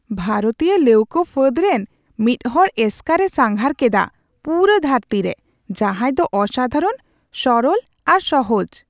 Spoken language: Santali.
ᱵᱷᱟᱨᱚᱛᱤᱭᱟᱹ ᱞᱟᱹᱣᱠᱟᱹ ᱯᱷᱟᱹᱫ ᱨᱮᱱ ᱢᱤᱫ ᱦᱚᱲ ᱮᱥᱠᱟᱨᱮ ᱥᱟᱸᱜᱷᱟᱨ ᱠᱮᱫᱟ ᱯᱩᱨᱟᱹ ᱫᱷᱟᱹᱨᱛᱤᱨᱮ ᱾ ᱡᱟᱦᱟᱭ ᱫᱚ ᱚᱥᱟᱫᱷᱟᱨᱚᱱ, ᱥᱚᱨᱚᱞ ᱟᱨ ᱥᱚᱦᱚᱡ !